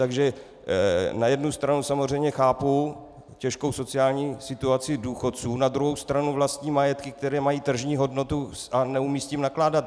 Takže na jednu stranu samozřejmě chápu těžkou sociální situaci důchodců, na druhou stranu vlastní majetky, které mají tržní hodnotu, a neumějí s tím nakládat.